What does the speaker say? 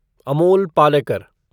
Amol Palekar